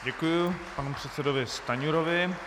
Děkuji panu předsedovi Stanjurovi.